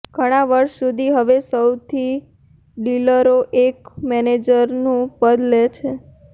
ઘણા વર્ષો સુધી હવે તે સૌથી ડીલરો એક મેનેજરનું પદ લે છે